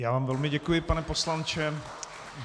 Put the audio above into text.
Já vám velmi děkuji, pane poslanče.